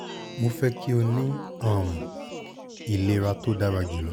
mo fẹ ki o ni um ilera ti o dara julọ